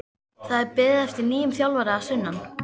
Það er beðið eftir nýjum þjálfara að sunnan.